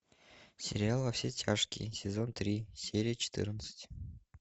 сериал во все тяжкие сезон три серия четырнадцать